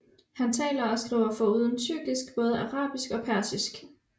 Han taler og skriver foruden tyrkisk både arabisk og persisk